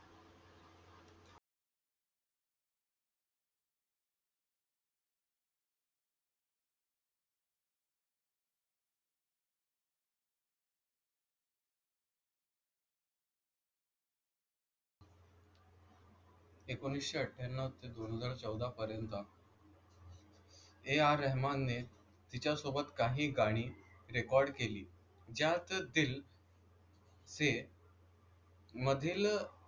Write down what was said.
एकोणीसशे अठ्ठ्याण्णव ते दोन हजार चौदा पर्यंत AR रहमानने तिच्यासोबत काही गाणी रेकॉर्ड केली. ज्यातील ते मधील,